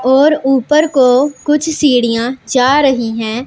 और ऊपर को कुछ सीढ़ियां जा रही हैं।